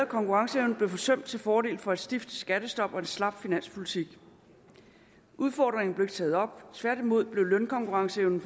konkurrenceevne blev forsømt til fordel for et stift skattestop og en slap finanspolitik udfordringen blev ikke taget op tværtimod blev lønkonkurrenceevnen